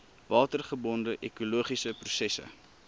watergebonde ekologiese prosesse